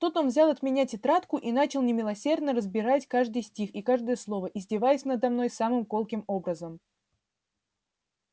тут он взял от меня тетрадку и начал немилосердно разбирать каждый стих и каждое слово издеваясь надо мной самым колким образом